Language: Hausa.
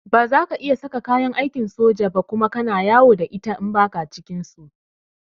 Ba za ka iya saka kayan aikin soja Kuma kana yawo da ita in ba ka cikin su.